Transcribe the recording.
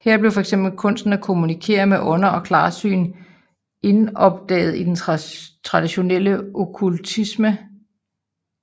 Her blev fx kunsten at kommunikere med ånder og klarsyn indoptaget i den tradtionelle okkultisme